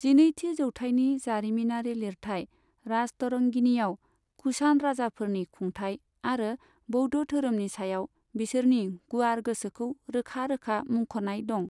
जिनैथि जौथाइनि जारिमिनारि लिरथाइ राजतरंगिणीआव कुषान राजाफोरनि खुंथाइ आरो बौद्ध धोरोमनि सायाव बिसोरनि गुवार गोसोखौ रोखा रोखा मुंख'नाय दं।